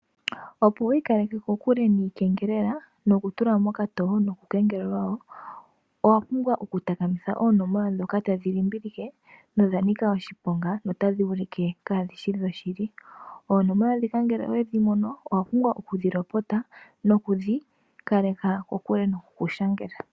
Opo wi ikaleke kokule niikengelela noku tulwa mokatoo noku kengelelwa woo ,owapumbwa oku takamitha oonomola ndhoka tadhi limbilike oonomola ndhika ngele owedhimono owapumbwa oku dhilopota opo wi ikaleke kokule noku ku shangela.